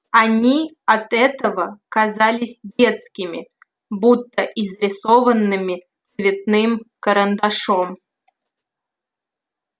они от этого казались детскими будто изрисованными цветным карандашом